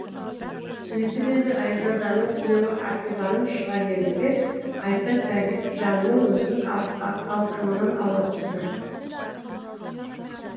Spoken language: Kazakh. сөйтіп еді айзаданың күйеуі ақиланып шыға келді де қайта сәбитжанның өзін алқымынан ала түсті